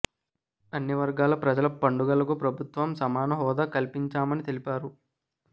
అన్ని వర్గాల ప్రజల పండుగలకు ప్రభుత్వం సమాన హోదా కల్పించామని తెలిపారు